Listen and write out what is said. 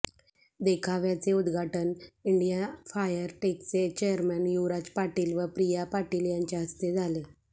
देखाव्याचे उद्घाटन India fire टेकचे chairman Yuvraj Patil व प्रिया पाटील यांच्या हस्ते झाले